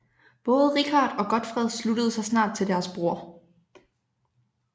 Både Richard og Godfred sluttede sig snart til deres bror